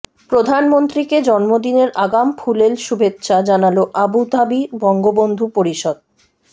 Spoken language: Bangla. প্রধানমন্ত্রীকে জন্মদিনের আগাম ফুলেল শুভেচ্ছা জানাল আবুধাবি বঙ্গবন্ধু পরিষদ